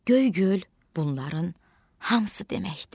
Göygöl, bunların hamısı deməkdir.